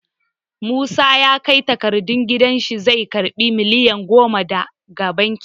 Musa ya kai takardun gidan shi zai karɓi miliyan goma daga banki.